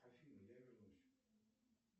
афина я вернусь